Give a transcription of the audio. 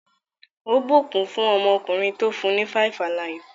Ó ìbùkún fún ọmọkùnrin tó fún ní 5-alive.